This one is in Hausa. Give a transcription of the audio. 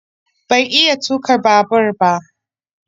Ban iya tuka babur ba